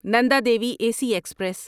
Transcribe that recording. نندا دیوی ایک ایکسپریس